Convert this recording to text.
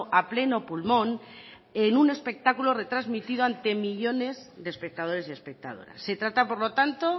a pleno pulmón en un espectáculo retransmitido ante millónes de espectadores y espectadoras se trata por lo tanto